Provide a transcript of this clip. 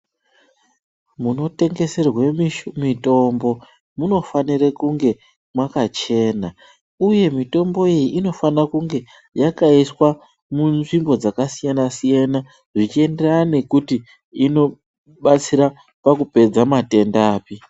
Munotengeserwe mitombo munofanire kunge makachena uye mitombo iyi inofanire kunge yakaiswa munzvimbo dzakasiyana siyana zvichienderana nekuti inobatsira pakupedza matenda api.